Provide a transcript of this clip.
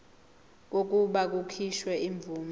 kokuba kukhishwe imvume